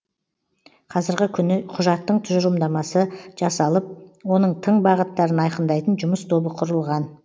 қазіргі күні құжаттың тұжырымдамасы жасалып оның тың бағыттарын айқындайтын жұмыс тобы құрылған